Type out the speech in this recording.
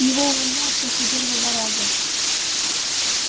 его увольняют после первого раза